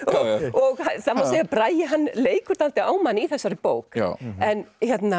að Bragi leikur dálítið á mann í þessari bók en